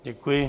Děkuji.